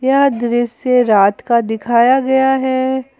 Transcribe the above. यह दृश्य रात का दिखाया गया है।